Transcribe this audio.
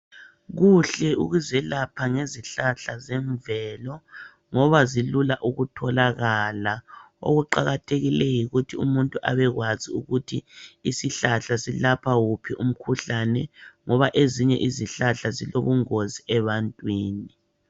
Kuhle ukuzelapha ngezihlahla zemvelo ngoba zilula ukutholakala okuqakathekileyo yikuthi umuntu abekwazi ukuthi isihlahla silapha wuphi umkhuhlane ngoba ezinye izihlahla zilobungozi ebantwini.